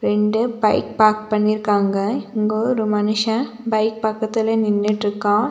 ரெண்டு bike park பண்ணிருக்காங்க இங்க ஒரு மனுஷன் பைக் பக்கத்துல நின்னுட்டுருக்கான்.